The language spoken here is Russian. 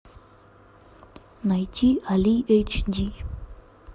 найти али эйч ди